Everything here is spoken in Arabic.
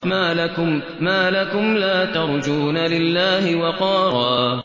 مَّا لَكُمْ لَا تَرْجُونَ لِلَّهِ وَقَارًا